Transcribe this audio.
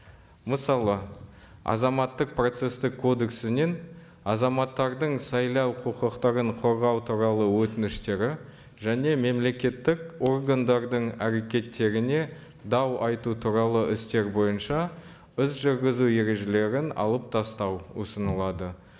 мысалы азаматтық процесстік кодексінен азаматтардың сайлау құқықтарын қорғау туралы өтініштері және мемлекеттік органдардың әрекеттеріне дау айту туралы істер бойынша іс жүргізу ережелерін алып тастау ұсынылады